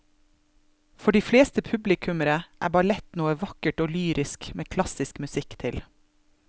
For de fleste publikummere er ballett noe vakkert og lyrisk med klassisk musikk til.